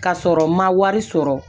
Ka sɔrɔ n ma wari sɔrɔ